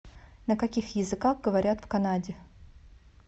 на каких языках говорят в канаде